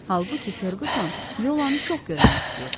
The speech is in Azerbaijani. Halbuki Ferquson Yolanı çox görmək istəyirdi.